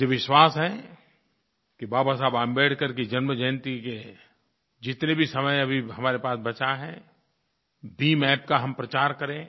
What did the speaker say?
मुझे विश्वास है कि बाबा साहेब अम्बेडकर की जन्मजयंती का जितना भी समय अभी हमारे पास बचा है BHIMApp का हम प्रचार करें